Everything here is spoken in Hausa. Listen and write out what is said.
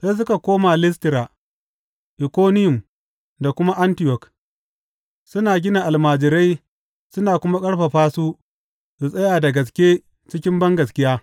Sai suka koma Listira, Ikoniyum da kuma Antiyok, suna gina almajirai suna kuma ƙarfafa su su tsaya da gaske cikin bangaskiya.